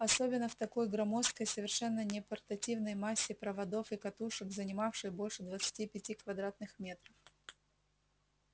особенно в такой громоздкой совершенно непортативной массе проводов и катушек занимавшей больше двадцати пяти квадратных метров